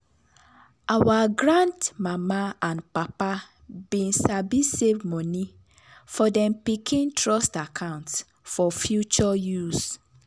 our grand mama and papa been sabi save money for dem pikin trust account for future use.